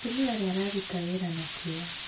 Mũtumia ũrĩa araruta wĩra na kĩyo.